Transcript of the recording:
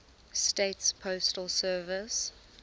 states postal service